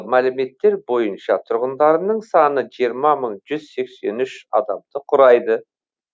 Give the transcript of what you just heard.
мәліметтер бойынша тұрғындарының саны жиырма мың жүз сексен үш адамды құрайды